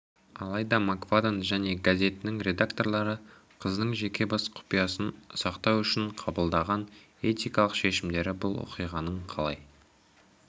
алайда мак фадден және газетінің редакторлары қыздың жеке бас құпиясын сақтау үшін қабылдаған этикалық шешімдері бұл оқиғаның қалай